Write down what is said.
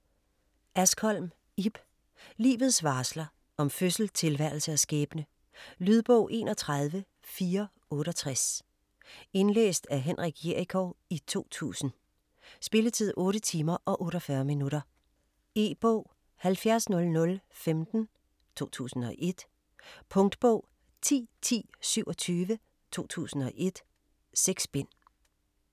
Askholm, Ib: Livets varsler: om fødsel, tilværelse og skæbne Lydbog 31468 Indlæst af Henrik Jerichow, 2000. Spilletid: 8 timer, 48 minutter. E-bog 700015 2001. Punktbog 101027 2001. 6 bind.